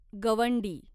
गवंडी